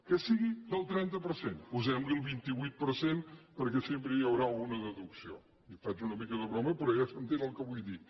que sigui del trenta per cent posem li el vint vuit per cent perquè sempre hi haurà alguna deducció i faig una mica de broma però ja s’entén el que vull dir